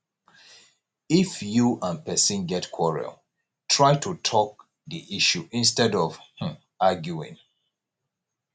if you and person get quarrel try to talk di issue instead of um arguing